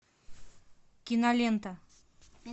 кинолента